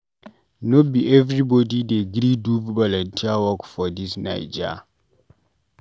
No be everybodi dey gree do volunteer work for dis Naija.